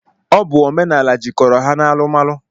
Ọ bụ omenala jikọrọ ha n'alumalu.